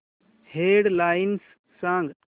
head lines सांग